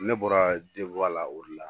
Ne bɔra la o de la